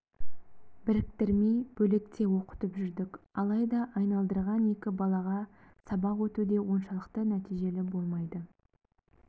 біріктірмей бөлек те оқытып жүрдік алайда айналдырған екі балаға сабақ өту де оншалықты нәтижелі болмайды